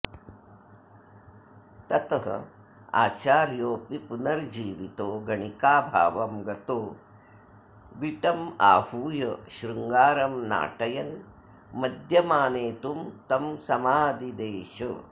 तत आचार्योऽपि पुनर्जीवितो गणिकाभावं गतो विटमाहूय शृङ्गारं नाटयन् मद्यमानेतुं तं समादिदेश